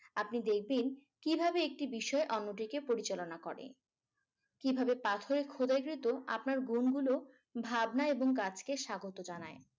আপনি দেখবেন কিভাবে একটি বিষয়ের অন্যদিকে পরিচালনা করে । কিভাবে পাথরে খোদাইকৃত আপনার ভ্রুমগুলো ভাবনা এবং কাজকে স্বাগত জানায়।